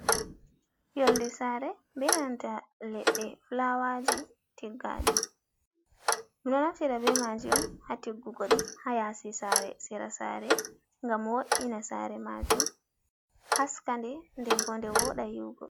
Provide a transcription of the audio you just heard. Yolde saare beebnanta leɗɗe fulaawaaji tiggaaɗi ɗum ɗo naftira bee maaji on haa tiggugo ɗi haa yaasi saare, sera saare ngam wo’ina saare maajum haa aska nde nden boo nde wooɗa yi’ugo.